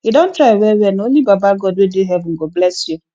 you don try wellwell na only baba god wey dey heaven go bless you